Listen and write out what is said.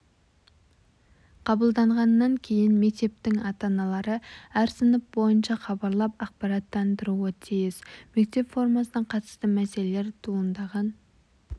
қабылданғаннан кейін мектептің ата-аналары әр сынып бойынша хабарлап ақпараттандыруы тиіс мектеп формасына қатысты мәселелер туындаған